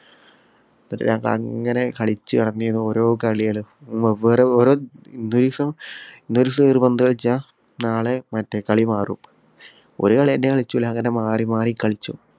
അങ്ങനെ കളിച്ചു നടന്നീനു ഓരോ കളികള്. വെവ്വേറെ വേറെ ഒരീസം ഇന്ന് ഒരീസം ഒരു പന്ത് കളിച്ചാൽ നാളെ മറ്റേ കളി മാറും. ഒരു കളി തന്നെ കളിക്കൂല. അങ്ങനെ മാറി മാറി കളിച്ചും.